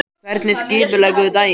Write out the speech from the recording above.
Hvernig skipuleggur þú daginn?